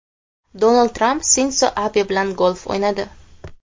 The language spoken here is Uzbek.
Donald Tramp Sindzo Abe bilan golf o‘ynadi.